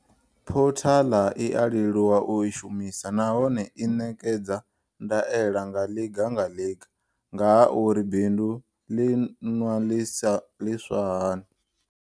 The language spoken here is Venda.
Phothaḽa i a leluwa u i shumisa nahone i ṋekedza ndaela nga ḽiga nga ḽiga nga ha uri bindu ḽi ṅwa liswa hani.